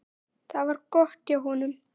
Það var gott hjá honum.